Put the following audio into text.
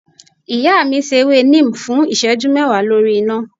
iya mi se èwé Neem fún iseju mewa lorí iná